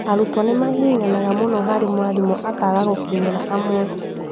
arutwo nĩ mahihinyanaga mũno na mwarimũ akaaga gũkinyĩra amwe